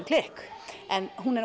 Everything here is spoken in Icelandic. klikk en hún er